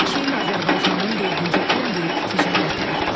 Çin Azərbaycanın dördüncü ən böyük ticarət tərəfdaşıdır.